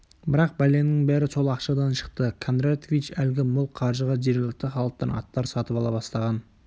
бірақ бәленің бәрі сол ақшадан шықты кондратович әлгі мол қаржыға жергілікті халықтан аттар сатып ала бастаған